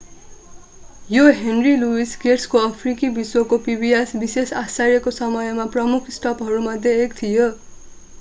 यो henry louis gates को अफ्रिकी विश्वको pbs विशेष आश्चर्यको समयमा प्रमुख स्टपहरूमध्ये एक थियो